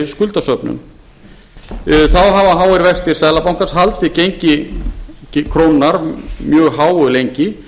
skuldasöfnun þá hafa háir vextir seðlabankans haldið gengi krónunnar mjög háu lengi